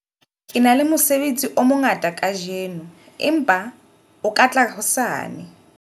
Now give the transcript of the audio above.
Ke na le mosebetsi o mongata kajeno, empa o ka tla hosane.